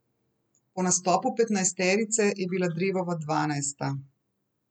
Po nastopu petnajsterice je bila Drevova dvanajsta.